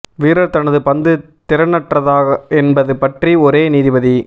வீரர் தனது பந்து திறனற்றதா என்பது பற்றி ஒரே நீதிபதி